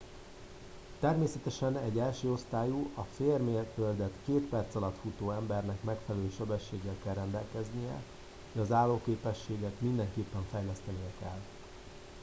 természetesen egy elsőosztályú a félmérföldet két perc alatt futó embernek megfelelő sebességgel kell rendelkeznie de az állóképességet mindenképpen fejlesztenie kell